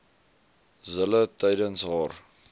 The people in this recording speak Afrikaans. zille tydens haar